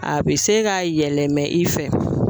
A bɛ se ka yɛlɛmɛ i fɛ